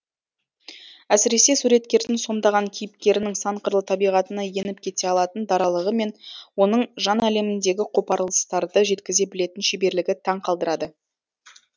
әсіресе суреткердің сомдаған кейіпкерінің сан қырлы табиғатына еніп кете алатын даралығы мен оның жан әлеміндегі қопарылыстарды жеткізе білетін шеберлігі таң қалдырады